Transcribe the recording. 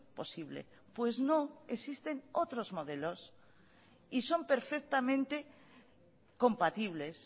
posible pues no existen otros modelos y son perfectamente compatibles